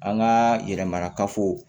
An ka yɛrɛ mara kafo